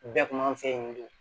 Bɛɛ kun b'an fɛ yen nɔ